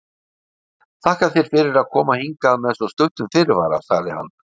Þakka þér fyrir að koma hingað með svo stuttum fyrirvara sagði hann.